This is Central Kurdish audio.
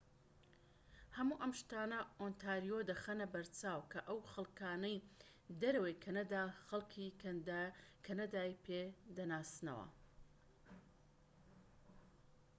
هەموو ئەم شتانە ئۆنتاریۆ دەخەنە بەرچاو کە ئەو خەڵکانەی دەرەوەی کەنەدا خەلکی کەنەدای پێدەناسنەوە